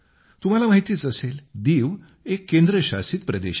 तुम्हाला माहितीच असेल दीव एक केंद्रशासित प्रदेश आहे